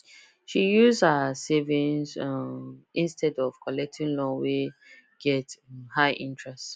she use her savings um instead of collecting loan wey get um high interest